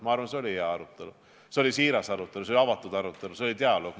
Ma arvan, et see oli hea arutelu, see oli siiras arutelu, see oli avatud arutelu, see oli dialoog.